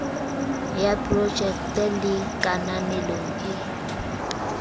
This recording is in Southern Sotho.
ya projekte le kananelong e